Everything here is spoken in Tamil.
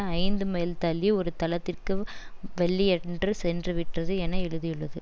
ஐந்து மைல் தள்ளி ஒரு தளத்திற்கு வெள்ளியன்று சென்றுவிட்டது என எழுதியுள்ளது